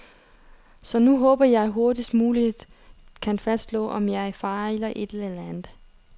Så nu håber jeg, det hurtigst muligt kan fastslås, om jeg fejler et eller andet.